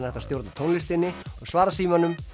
hægt að stjórna tónlistinni og svara símanum